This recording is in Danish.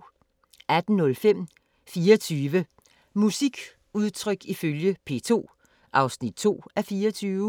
18:05: 24 musikudtryk ifølge P2 (2:24)